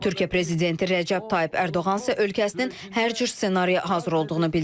Türkiyə prezidenti Rəcəb Tayyib Ərdoğan isə ölkəsinin hər cür ssenariyə hazır olduğunu bildirib.